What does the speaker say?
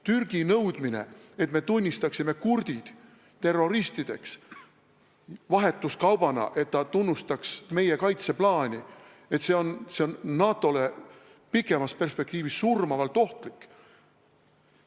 Türgi nõudmine, et me vahetuskaubana tunnistaksime kurdid terroristideks, selleks et ta tunnustaks meie kaitse plaani, on NATO-le pikemas perspektiivis surmavalt ohtlik.